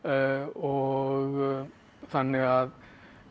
og þannig að